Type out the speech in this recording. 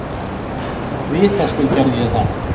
Vitaskuld gerði ég það.